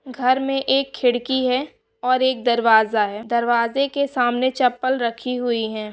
घर में एक खिड़की है और एक दरवाजा है। दरवाजे के सामने चप्पल रखी हुई है।